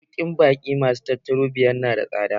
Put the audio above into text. Masaukin baƙi masu tauraro biyar nada tsada.